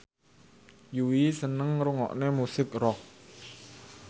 Yui seneng ngrungokne musik rock